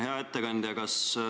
Hea ettekandja!